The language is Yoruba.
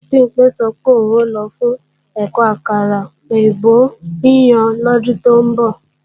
Bimpé sọ pé òun ò lọ fún ẹ̀kọ́ àkàrà èbó yíyan lọ́dún tó ń bọ̀